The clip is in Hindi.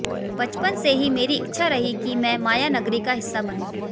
बचपन से ही मेरी इच्छा रही कि मैं मायानगरी का हिस्सा बनूं